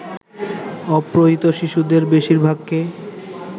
অপহৃত শিশুদের বেশিরভাগকে